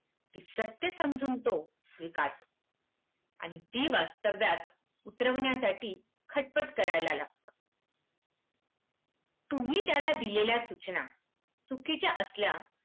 ती सत्य समजून तो स्वीकारतो आणि ती वास्तव्यात उतरवण्यासाठी खटपट करायला लागतो. तुम्ही त्याला दिलेल्या सूचना चुकीच्या असल्या